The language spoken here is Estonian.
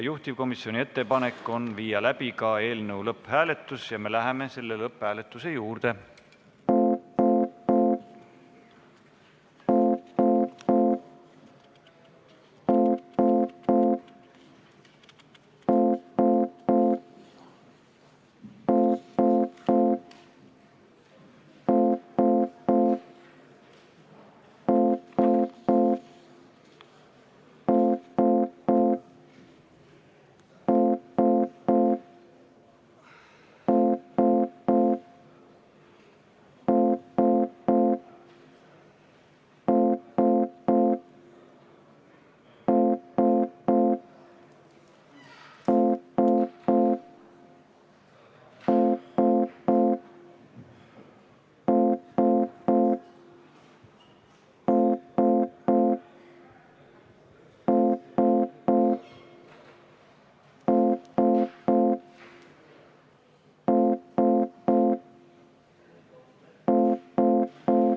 Juhtivkomisjoni ettepanek on panna eelnõu lõpphääletusele ja me läheme selle juurde.